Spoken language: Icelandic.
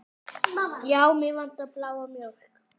Já, mig vantar bláa mjólk.